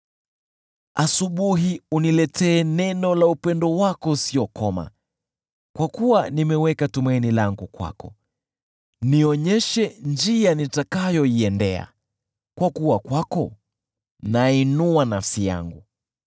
Asubuhi uniletee neno la upendo wako usiokoma, kwa kuwa nimeweka tumaini langu kwako. Nionyeshe njia nitakayoiendea, kwa kuwa kwako nainua nafsi yangu.